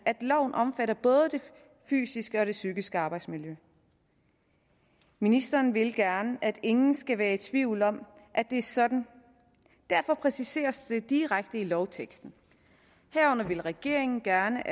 at loven omfatter både det fysiske og psykiske arbejdsmiljø ministeren vil gerne at ingen skal være i tvivl om at det er sådan derfor præciseres det direkte i lovteksten at regeringen gerne